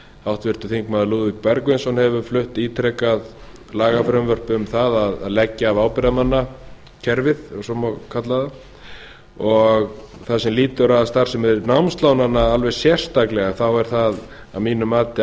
háttvirtir þingmenn lúðvík bergvinsson hefur flutt ítrekað lagafrumvörp um það að leggja af ábyrgðarmannakerfið ef svo má kalla það það sem lýtur að starfsemi námslánanna alveg sérstaklega þá er það að mínu mati